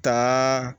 Taa